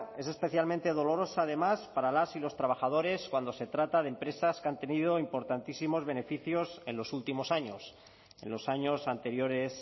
es especialmente dolorosa además para las y los trabajadores cuando se trata de empresas que han tenido importantísimos beneficios en los últimos años en los años anteriores